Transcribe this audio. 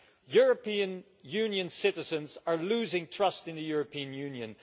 European Union citizens are losing trust in the European Union.